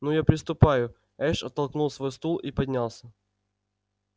ну я приступаю эш оттолкнул свой стул и поднялся